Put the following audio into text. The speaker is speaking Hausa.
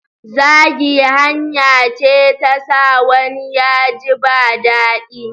Zagi hanya ce ta sa wani ya ji ba daɗi.